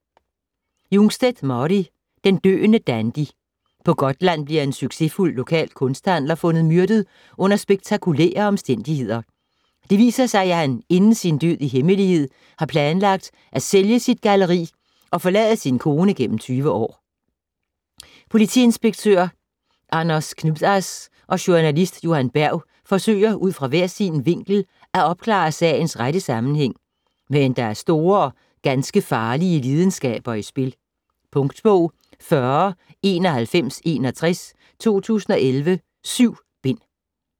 Jungstedt, Mari: Den døende dandy På Gotland bliver en succesfuld lokal kunsthandler fundet myrdet under spektakulære omstændigheder. Det viser sig, at han inden sin død i hemmelighed har planlagt at sælge sit galleri og forlade sin kone gennem 20 år. Politiinspektør Anders Knutas og journalist Johan Berg forsøger ud fra hver sin vinkel at opklare sagens rette sammenhæng, men der er store og ganske farlige lidenskaber i spil. Punktbog 409161 2011. 7 bind.